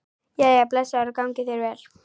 Jæja, blessaður og gangi þér vel